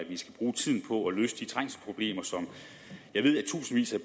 vi